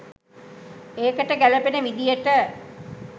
ඒකට ගැලපෙන විදියට